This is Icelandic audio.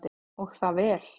Og það vel.